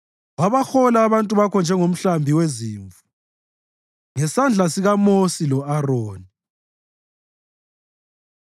Wabahola abantu bakho njengomhlambi wezimvu ngesandla sikaMosi lo-Aroni.